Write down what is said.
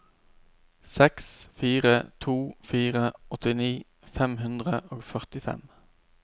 seks fire to fire åttini fem hundre og førtifem